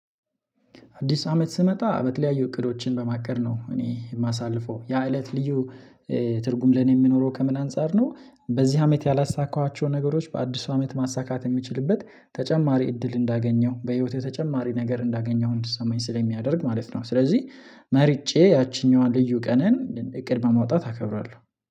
አዲስ አመት ስመጣ በተለያዩ እቅዶችን በማቀድ ነው እኔ የማሳልፈው ያ እለት ልዩ ትርጉም ለኔ የሚኖረው ከምን አንፃር ነው? በዚህ አመት ያላሳካኋቸውን ነገሮች በአዲስ አመት ማሳካት የሚችልበት ተጨማሪ እድል እንዳገኘሁ በህይወቴ ተጨማሪ ነገር እንዳገኘው እንድትሰማኝ ስለሚያደርግ ማለት ነው። ስለዚህ መርጬ ያቺኛዋን ልዩ ቀንን እቅድ በማውጣት አከብራለሁ